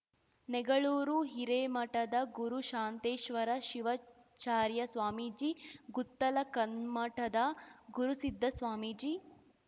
ನೆಗಳೂರು ಹಿರೇಮಠದ ಗುರುಶಾಂತೇಶ್ವರ ಶಿವಾಚಾರ್ಯ ಸ್ವಾಮೀಜಿ ಗುತ್ತಲ ಕಲ್ಮಠದ ಗುರುಸಿದ್ಧ ಸ್ವಾಮೀಜಿ